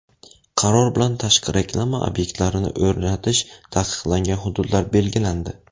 Qaror bilan tashqi reklama obyektlarini o‘rnatish taqiqlangan hududlar belgilandi.